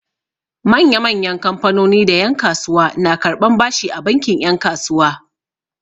Manya-manyan kamfanoni da yan'kasuwa na karɓan bashi a bankin 'yan kasuwa.